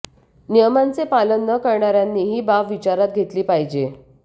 नियमांचे पालन न करणाऱ्यांनी ही बाब विचारात घेतली पाहिजे